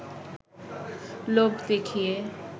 লোভ দেখিয়ে